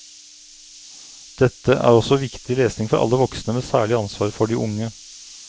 Dette er også viktig lesning for alle voksne med særlig ansvar for de unge.